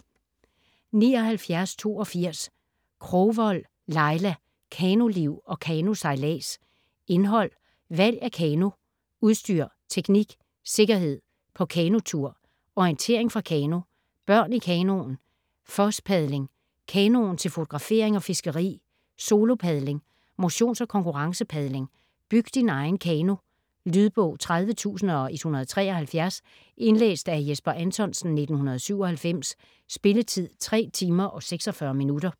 79.82 Krogvold, Laila: Kanoliv & kanosejlads Indhold: Valg af kano ; Udstyr ; Teknik ; Sikkerhed ; På kanotur ; Orientering fra kano ; Børn i kanoen ; Fosspadling ; Kanoen til fotografering og fiskeri ; Solopadling ; Motions- og konkurrencepadling ; Byg din egen kano. Lydbog 30173 Indlæst af Jesper Anthonsen, 1997. Spilletid: 3 timer, 46 minutter.